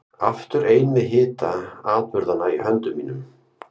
Aftur ein með hita atburðanna í höndum mínum.